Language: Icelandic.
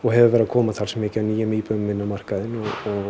hefur verið að koma talsvert mikið af nýjum íbúðum inn á markaðinn og